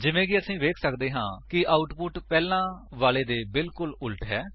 ਜਿਵੇਂ ਕਿ ਅਸੀ ਵੇਖ ਸੱਕਦੇ ਹਾਂ ਕਿ ਆਉਟਪੁਟ ਪਹਿਲਾਂ ਵਾਲੇ ਦੇ ਬਿਲਕੁਲ ਵਿਪਰੀਤ ਹੈ